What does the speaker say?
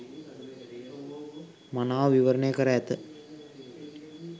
මනාව විවරණය කර ඇත.